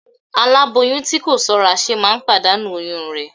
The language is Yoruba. Aláboyún tí kò ṣọ́ra ṣe máa ń pàdánù oyún rẹ̀